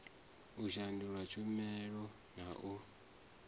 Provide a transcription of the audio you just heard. u shandula tshumela na u